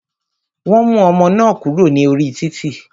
Wọn mú ọmọ náà kúrò ní orí títì.